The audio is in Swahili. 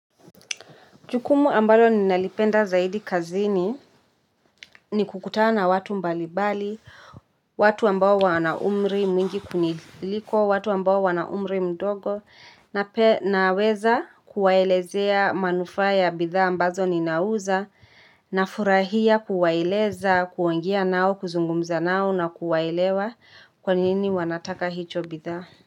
Jukumu ambalo ninalipenda zaidi kazini ni kukutana na watu mbalibali, watu ambao wana umri mwingi kuniliko, watu ambao wana umri mdogo, nape naweza kuwaelezea manufaa ya bidhaa ambazo ninauza, nafurahia kuwaeleza, kuongea nao, kuzungumza nao na kuwaelewa kwa nini wanataka hicho bidhaa.